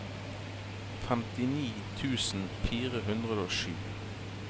femtini tusen fire hundre og sju